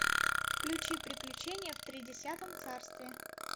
включи приключения в тридесятом царстве